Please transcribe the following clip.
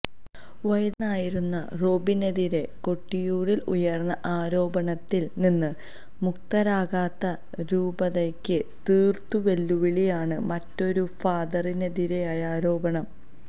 വൈദികനായിരുന്ന റോബിനെതിരെ കൊട്ടിയൂരിൽ ഉയർന്ന ആരോപണത്തിൽ നിന്ന് മുക്തരാകാത്ത രൂപതയ്ക്ക് തീർത്തും വെല്ലുവിളിയാണ് മറ്റൊരു ഫാദറിനെതിരായ ആരോപണം